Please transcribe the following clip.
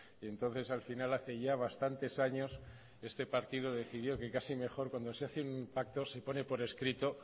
y entonces al final hace ya bastantes años este partido decidió que casi mejor que cuando se hace un pacto se pone por escrito